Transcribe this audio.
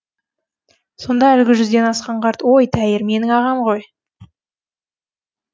сонда әлгі жүзден асқан қарт ой тәйір менің ағам ғой